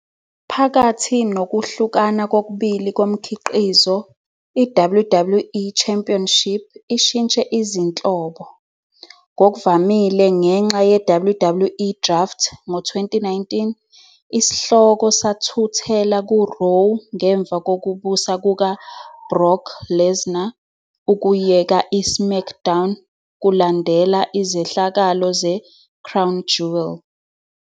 Phakathi nokuhlukana kokubili komkhiqizo, i-WWE Championship ishintshe izinhlobo, ngokuvamile ngenxa ye- WWE Draft, ngo-2019, isihloko sathuthela ku-Raw ngemva kokubusa kuka- Brock Lesnar ukuyeka i-SmackDown kulandela izehlakalo ze- Crown Jewel.